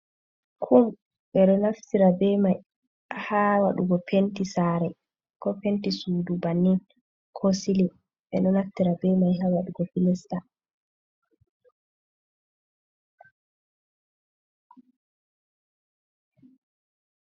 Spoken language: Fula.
Kum be do naftira be mai ha wadugo penti sare ko penti sudu bannin ko sili be no naftira be mai ha wadugo filista.